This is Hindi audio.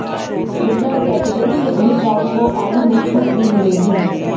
रिज़र्व केटेगरी के उम्मीदवारों को आयु में छूट भी मिलेगी